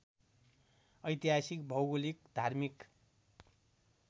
ऐतिहासिक भौगोलिक धार्मिक